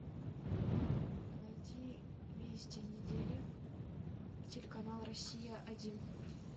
найди вести недели телеканал россия один